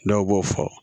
Dɔw b'o fɔ